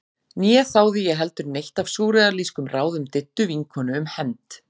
Né þáði ég heldur neitt af súrrealískum ráðum Diddu vinkonu um hefnd.